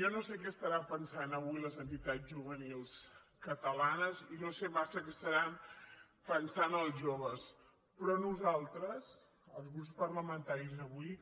jo no sé què deuen pensar avui les entitats juvenils catalanes i no sé massa què deuen pensar els joves però nosaltres els grups parlamentaris avui